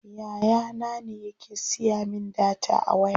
Yaya na ne yake siya min data a waya.